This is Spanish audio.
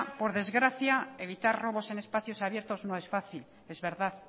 por desgracia evitar robos en espacios abiertos no es fácil es verdad